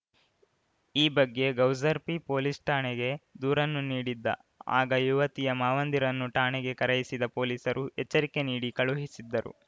ಈ ಬಗ್ಗೆ ಗೌಸರ್ಪಿ ಪೊಲೀಸ್‌ ಠಾಣೆಗೆ ದೂರನ್ನೂ ನೀಡಿದ್ದ ಆಗ ಯುವತಿಯ ಮಾವಂದಿರನ್ನು ಠಾಣೆಗೆ ಕರೆಯಿಸಿದ ಪೊಲೀಸರು ಎಚ್ಚರಿಕೆ ನೀಡಿ ಕಳುಹಿಸಿದ್ದರು